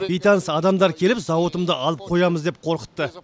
бейтаныс адамдар келіп зауытыңды алып қоямыз деп қорқытты